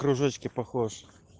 кружочки похож